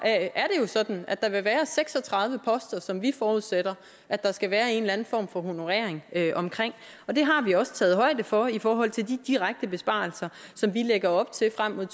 er det jo sådan at der vil være seks og tredive poster som vi forudsætter at der skal være en eller anden form for honorering af og det har vi også taget højde for i forhold til de direkte besparelser som vi lægger op til frem mod